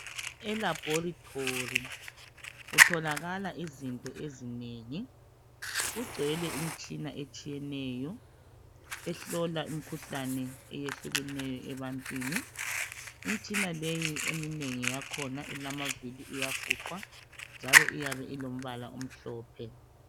Elaboritori kutholakala izinto ezinengi kugcwele imitshina etshiyeneyo ehlola umkhuhlane eyehlukeneyo ebantwini imitshina leyi eminengi yakhona ilamavili iyafuqwa njalo eyabe ilombala omhlophe